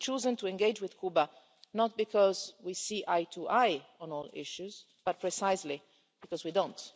We have chosen to engage with Cuba not because we see eye to eye on all issues, but precisely because we don't.